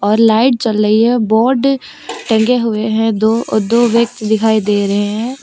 और लाइट जल रही है बोर्ड टंगे हुए है दो दो व्यक्ति दिखाई दे रहे हैं।